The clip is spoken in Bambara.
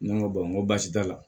Ne ko n ko baasi t'a la